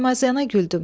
Saymazyana güldüm.